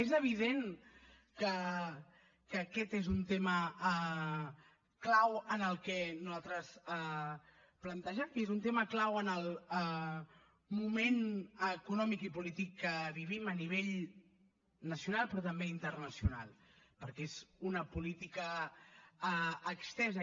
és evident que aquest és un tema clau que nosaltres plantegem i és un tema clau en el moment econòmic i polític que vivim a nivell nacional però també internacional perquè és una política estesa